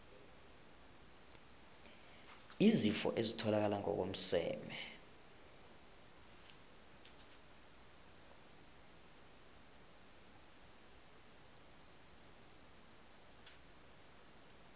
izifo ezitholakala ngokomseme